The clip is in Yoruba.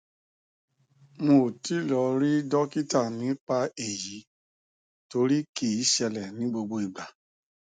n ò tí ì lọ rí dọkítà nípa èyí torí kì í ṣẹlẹ ní gbogbo ìgbà